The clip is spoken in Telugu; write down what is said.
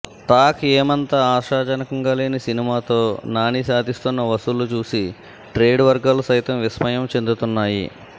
టాక్ ఏమంత ఆశాజనకంగా లేని సినిమాతో నాని సాధిస్తోన్న వసూళ్లు చూసి ట్రేడ్ వర్గాలు సైతం విస్మయం చెందుతున్నాయి